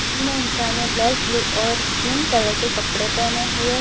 तीन इंसान black blue और स्किन कलर के कपड़े पहने हुए --